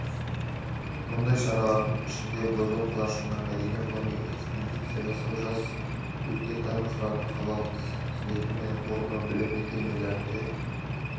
мұндай шаралардың ішінде бозоқ қалашығына мәдени-ғылыми экспедиция жасау жас өлкетанушылардың қалалық слеті мен форумы білім мекемелерінде